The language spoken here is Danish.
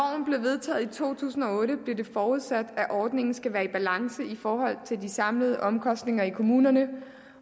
vedtaget i to tusind og otte blev det forudsat at ordningen skulle være i balance i forhold til de samlede omkostninger i kommunerne